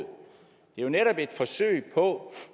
jo netop et forsøg på